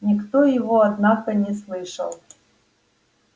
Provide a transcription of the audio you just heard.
никто его однако не слышал